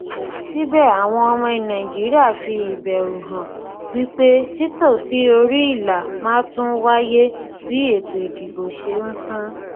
síbẹ àwọn ọmọ nàìjíríà fi ìbẹrù hàn wí pé títò sí orí ìlà máa tún wáyé bí ètò ìdìbò ṣe ń sún